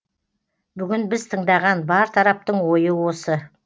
бүгін біз тыңдаған бар тараптың ойы осы